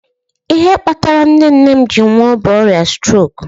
Ihe kpatara nne nne m ji nwuo bụ ọrịa strok